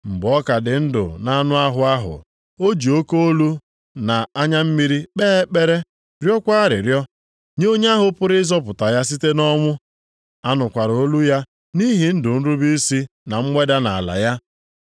Mgbe ọ ka dị ndụ nʼanụ ahụ, o ji oke olu na anya mmiri kpee ekpere rịọkwa arịrịọ nye onye ahụ pụrụ ịzọpụta ya site nʼọnwụ. A nụkwara olu ya nʼihi ndụ nrube isi na mweda nʼala ya.